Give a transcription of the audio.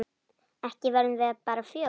Ekki verðum við bara fjögur?